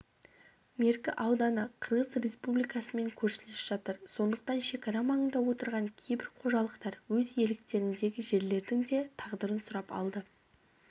меркі ауданы қырғыз республикасымен көршілес жатыр сондықтан шекара маңында отырған кейбір қожалықтар өз иеліктеріндегі жерлердің де тағдырын сұрап алды